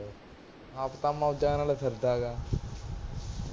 ਫਿਰਦਾ ਪਿਆ